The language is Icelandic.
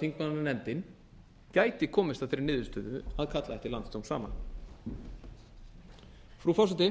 þingmannanefndin gæti komist að þeirri niðurstöðu að kalla ekki landsdóm saman frú forseti